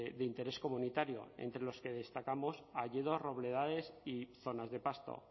de interés comunitario entre los que destacamos hayedos robledales y zonas de pasto